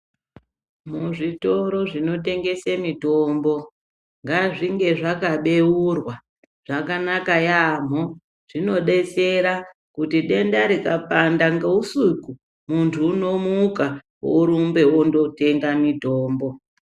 Muzvitoro zvinotengese mitombo ngazvinge zvakabeurwa zvakanaka yambo zvinodetsera kuti denda rikapanda ngeusiku muntu unomuka orumba ondotenga mirombo.